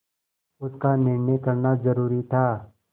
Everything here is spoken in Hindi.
उसका निर्णय करना जरूरी था